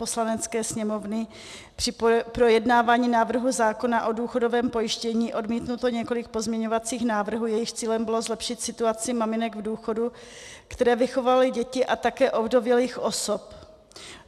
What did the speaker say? Poslanecké sněmovny při projednávání návrhu zákona o důchodovém pojištění odmítnuto několik pozměňovacích návrhů, jejichž cílem bylo zlepšit situaci maminek v důchodu, které vychovaly děti, a také ovdovělých osob.